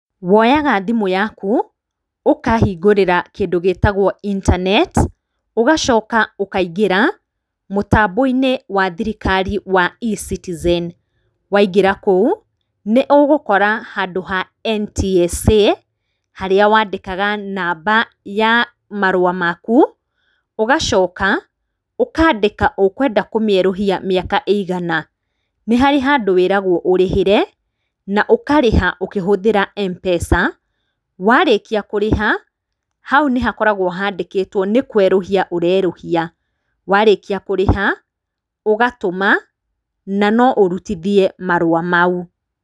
Woyaga thimũ yaku, ũkahingũrĩra kĩndũ gĩtagwo intaneti, ũgacoka ukaingĩra mũtambo-inĩ wa thirikari wa E-Citizen, waingĩra kũu, nĩ ũgũkora handũ ha NTSA, harĩa wandĩkaga namba ya marũa maku, ũgacoka ũkandĩka ũkwenda kũmĩerũhia mĩaka ĩigana. Nĩ harĩ handũ wĩragwo ũrĩhĩre, na ũkarĩha ũkĩhũthĩra MPESA, warĩkia kũrĩha, hau nĩ hakoragwo handĩkĩtwo nĩ kũerũhia ũrerũhia, warĩkia kũrĩha, ũgatũma, na no ũrutithie marũa mau.